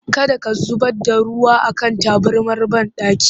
Kada ka zubar da ruwa a kan tabarmar banɗaki!